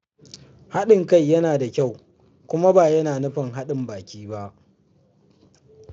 Haɗin kai yana da kyau, kuma ba yana nufin haɗin baki ba.